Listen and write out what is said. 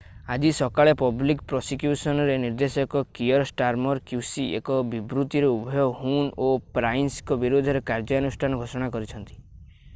ଆଜି ସକାଳେ ପବ୍ଲିକ୍ ପ୍ରସିକ୍ୟୁସନ୍‌ର ନିର୍ଦ୍ଦେଶକ କିଅର୍ ଷ୍ଟାର୍ମର୍ qc ଏକ ବିବୃତ୍ତିରେ ଉଭୟ ହୁନ୍ ଓ ପ୍ରାଇସ୍‌ଙ୍କ ବିରୋଧରେ କାର୍ଯ୍ୟାନୁଷ୍ଠାନ ଘୋଷଣା କରିଛନ୍ତି ।